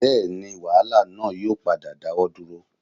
Bẹ́ẹ̀ni wàhálà náà yóò padà dáwọ́ dúró